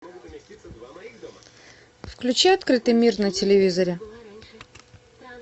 включи открытый мир на телевизоре